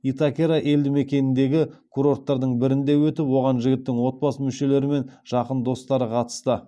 итакера елдімекеніндегі курорттардың бірінде өтіп оған жігіттің отбасы мүшелері мен жақын достары қатысты